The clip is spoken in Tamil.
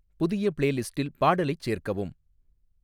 புதிய பிளேலிஸ்ட்டில் பாடலைச் சேர்க்கவும்